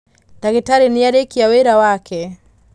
ndagītarī nīarīkia wīra wake.